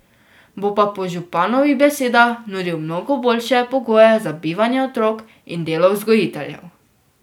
Bo pa po županovih besedah nudil mnogo boljše pogoje za bivanje otrok in delo vzgojiteljev.